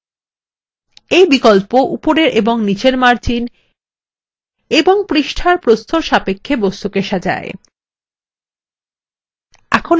এই বিকল্প উপরের এবং নীচের margins এবং পৃষ্ঠার প্রস্থের সাপেক্ষে বস্তুকে সাজায়